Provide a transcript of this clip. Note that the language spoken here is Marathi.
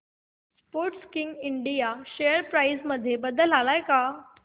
स्पोर्टकिंग इंडिया शेअर प्राइस मध्ये बदल आलाय का